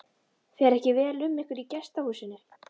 Fer ekki vel um ykkur í gestahúsinu?